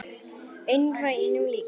Einar var engum líkur.